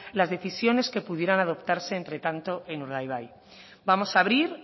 las decisiones que pudieran adoptarse entre tanto en urdaibai vamos a abrir